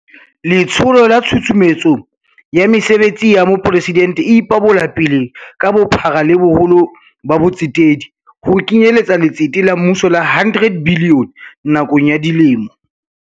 Letsholo la Tshusumetso ya Mesebetsi ya Mopresidente e ipabolapele ka bophara le boholo ba bo tsetedi, ho kenyeletsa letsete la mmuso la R100 bilione nakong ya dilemo